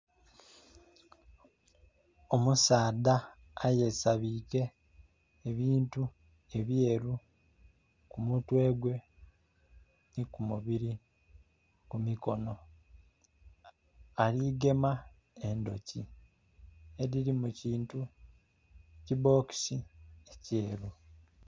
Omusaadha eyesabike ebintu ebyeru ku mutwe gwe ni ku mubiri, ku mikono. Aligema endhoki edhiri mu kintu, kibokisi ekyeru.